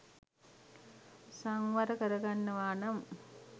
සංවර කරගන්නවා නම්